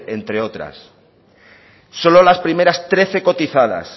entre otras solo las primeras trece cotizadas